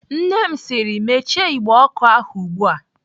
Nne m sịrị "Mechie igbe ọkụ ahụ ugbu a!"